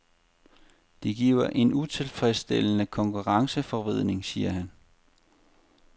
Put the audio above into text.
Det giver en utilfredsstillende konkurrenceforvridning, siger han.